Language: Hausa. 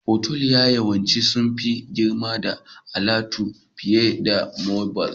Otal yawanci sun fi girma da alatu fiye da motal